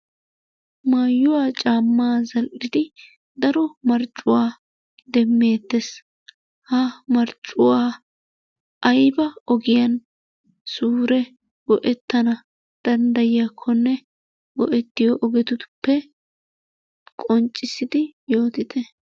Mayuwa caammaa zal'idi daro marccuwan demmeettes. Ha marccuwa ayiba ogiyan suure go'ettana denddayiyakkonne go'ettiyo ogetuppe qonccissidi yootite.